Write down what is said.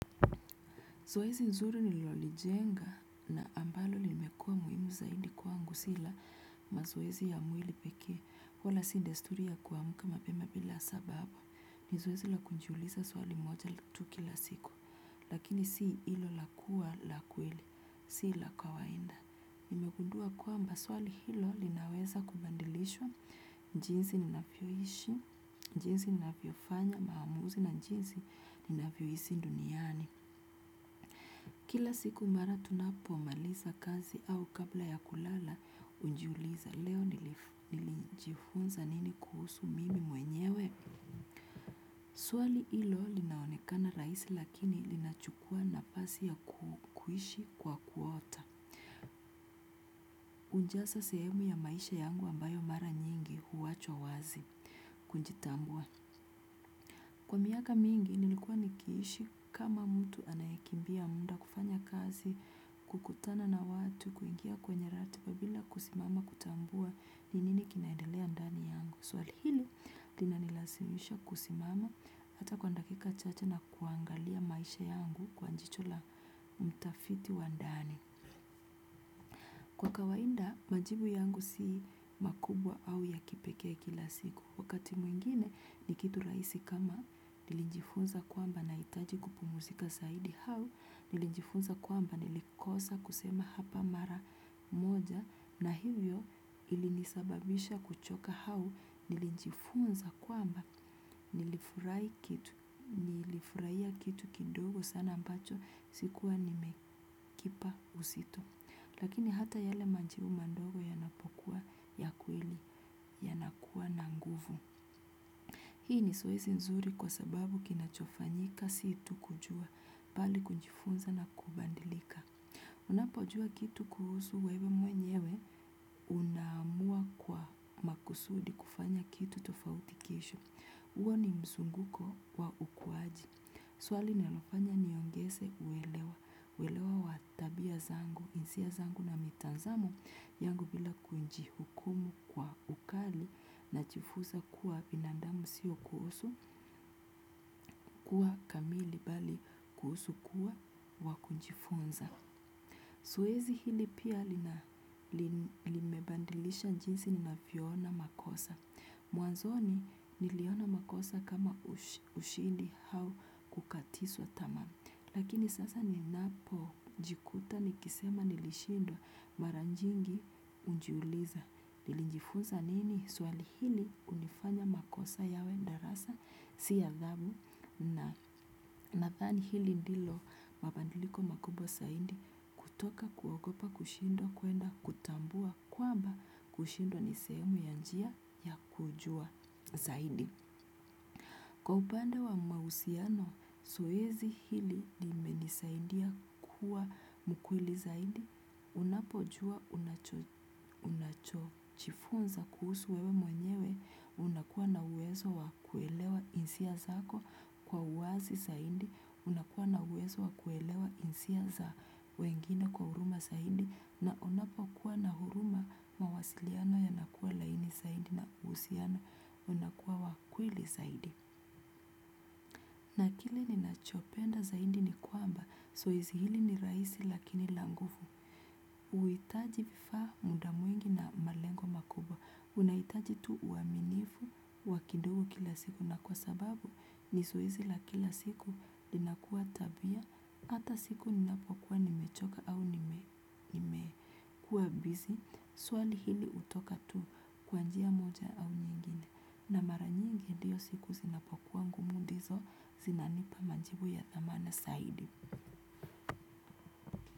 Zoezi nzuri nilolijenga na ambalo limekua muhimu zaidi kwangu si la mazoezi ya mwili pekee. Pola si desturi ya kuamka mapema bila sababu. Ni zoezi la kujiuliza swali moja tu kila siku. Lakini si ilo la kua la kweli. Si la kawainda. Nimegudua kwamba swali hilo linaweza kubandilisha jinsi ninafyoishi, jinsi ninafyofanya maamuzi na jinsi ninafyoisi duniani. Kila siku mara tunapomaliza kazi au kabla ya kulala unjiuliza leo nilijifunza nini kuhusu mimi mwenyewe. Swali ilo linaonekana raisi lakini linachukua napasi ya kuishi kwa kuota. Unjasa sehemu ya maisha yangu ambayo mara nyingi huwachwa wazi kunjitambua. Kwa miaka mingi, nilikuwa nikiishi kama mtu anayekimbia mda kufanya kasi, kukutana na watu, kuingia kwenye ratiba bila kusimama kutambua ni nini kinaendelea ndani yangu. Swali hili, linanilasimisha kusimama hata kwa ndakika chache na kuangalia maisha yangu kwa njicho la mtafiti wa ndani. Kwa kawainda, majibu yangu si makubwa au ya kipekee kila siku. Wakati mwingine ni kitu raisi kama nilijifunza kwamba nahitaji kupumusika zaidi hau nilinjifunza kwamba nilikosa kusema hapa mara moja na hivyo ilinisababisha kuchoka hau nilinjifunza kwamba nilifurai kitu, nilifuraia kitu kidogo sana ambacho sikuwa nimekipa usito. Lakini hata yale manjibu mandogo yanapokua ya kweli yanakua na nguvu. Hii ni sowezi nzuri kwa sababu kinachofanyika si tu kujua bali kujifunza na kubandilika. Unapojua kitu kuhusu wewe mwenyewe unaamua kwa makusudi kufanya kitu tofauti kesho. Uo ni msunguko wa ukuaji. Swali linalofanya niongese uelewa, uelewa wa tabia zangu, insia zangu na mitanzamo yangu bila kunjihukumu kwa ukali nachifuza kuwa binandamu sio kuhusu kuwa kamili bali kuhusu kuwa wa kunjifunza. Soezi hili pia lina limebandilisha njinsi ninafiona makosa. Mwanzoni niliona makosa kama ushindi hau kukatiswa tamaa. Lakini sasa ninapojikuta nikisema nilishindwa mara njingi unjiuliza. Nilinjifunsa nini? Swali hili unifanya makosa yawe ndarasa si adhabu. Na nathani hili ndilo mabandiliko makubwa saidi kutoka kuogopa kushindwa kuenda kutambua kwamba kushindwa ni sehemu ya njia ya kujua zaidi. Kwa upande wa mausiano, soezi hili nimenisaindia kuwa mukweli zaidi. Unapojua unacho chifunza kuhusu wewe mwenyewe. Unakua na uwezo wa kuelewa insia zako kwa uwazi saindi. Unakua na uwezo wa kuelewa insia za wengine kwa huruma saidi. Na unapokua na huruma mawasiliano yanakua laini saidi na uusiano unakua wa kweli zaidi. Penda zaidi ni kwamba soezi hili ni raisi lakini la ngufu. Uitaji vifaa mda mwingi na malengo makubwa. Unaitaji tu uaminifu wa kidogu kila siku na kwa sababu ni soezi la kila siku linakua tabia ata siku ni napokuwa ni mechoka au nimekua bizi. Swali hili utoka tu kwa njia moja au nyingine. Na mara nyingi diyo siku zinapokua ngumu ndiso zinanipa manjibu ya thamana saidi.